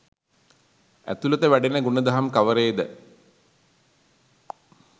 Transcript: ඇතුළත වැඩෙන ගුණදහම් කවරේද?